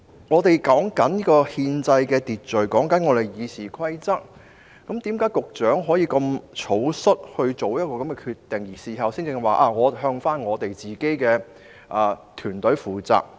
我們正談論憲制秩序和《議事規則》，為何局長可以如此草率作出這個決定，並在事後才說會向自己的團隊負責？